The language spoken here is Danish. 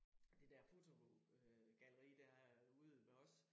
Det der fotogalleri der ude ved os